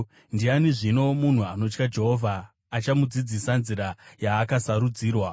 Ndiani, zvino, munhu anotya Jehovha? Achamudzidzisa nzira yaakasarudzirwa.